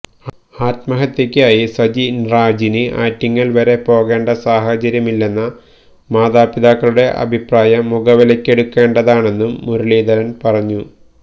ആത്മഹത്യക്കായി സജിന്രാജിന് ആറ്റിങ്ങല് വരെ പോകേണ്ട സാഹചര്യമില്ലെന്ന മാതാപിതാക്കളുടെ അഭിപ്രായം മുഖവിലക്കെടുക്കേണ്ടതാണെന്നും മുരളീധരന് പറഞ്ഞു